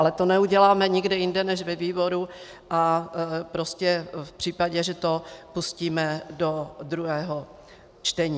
Ale to neuděláme nikde jinde než ve výboru a prostě v případě, že to pustíme do druhého čtení.